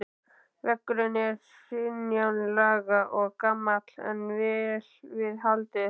Veggurinn er hringlaga og gamall en vel við haldið.